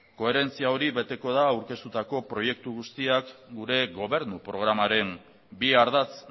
koherentzia hori beteko da aurkeztutako proiektu guztiak gure gobernu programaren bi ardatz